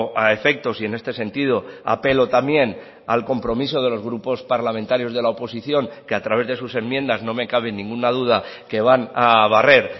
a efectos y en este sentido apelo también al compromiso de los grupos parlamentarios de la oposición que a través de sus enmiendas no me cabe ninguna duda que van a barrer